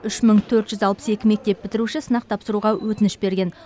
үш мың төрт жүз алпыс екі мектеп бітіруші сынақ тапсыруға өтініш берген